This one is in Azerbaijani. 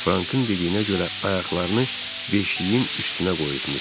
Frankın dediyinə görə ayaqlarını beşiyin üstünə qoyubmuş.